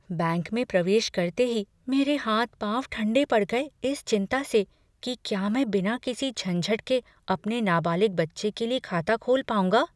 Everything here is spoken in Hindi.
बैंक में प्रवेश करते ही मेरे हाथ पाँव ठन्डे पड़ गए इस चिंता से कि क्या मैं बिना किसी झंझट के अपने नाबालिग बच्चे के लिए खाता खोल पाऊंगा।